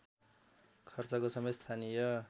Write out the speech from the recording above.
खर्चको समेत स्थानीय